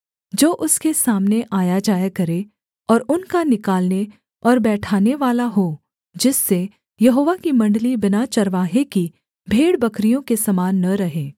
जो उसके सामने आयाजाया करे और उनका निकालने और बैठानेवाला हो जिससे यहोवा की मण्डली बिना चरवाहे की भेड़बकरियों के समान न रहे